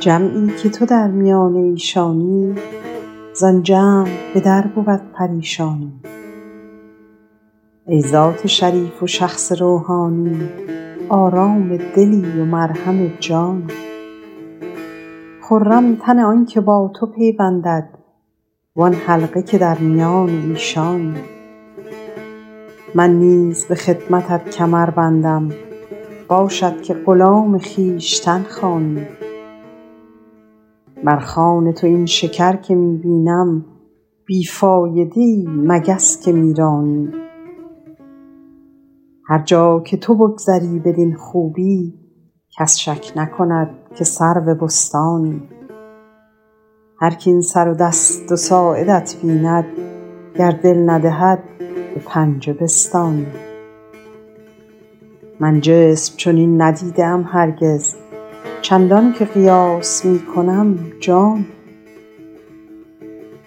جمعی که تو در میان ایشانی زآن جمع به در بود پریشانی ای ذات شریف و شخص روحانی آرام دلی و مرهم جانی خرم تن آن که با تو پیوندد وآن حلقه که در میان ایشانی من نیز به خدمتت کمر بندم باشد که غلام خویشتن خوانی بر خوان تو این شکر که می بینم بی فایده ای مگس که می رانی هر جا که تو بگذری بدین خوبی کس شک نکند که سرو بستانی هرک این سر دست و ساعدت بیند گر دل ندهد به پنجه بستانی من جسم چنین ندیده ام هرگز چندان که قیاس می کنم جانی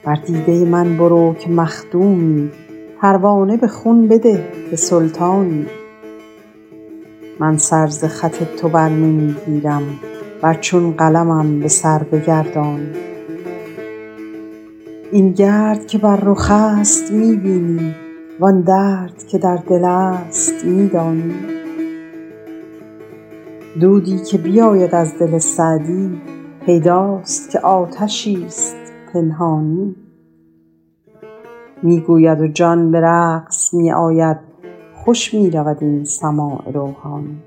بر دیده من برو که مخدومی پروانه به خون بده که سلطانی من سر ز خط تو بر نمی گیرم ور چون قلمم به سر بگردانی این گرد که بر رخ است می بینی وآن درد که در دل است می دانی دودی که بیاید از دل سعدی پیداست که آتشی ست پنهانی می گوید و جان به رقص می آید خوش می رود این سماع روحانی